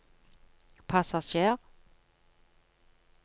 passasjer